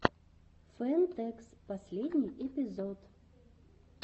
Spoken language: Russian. фэн тэкс последний эпизод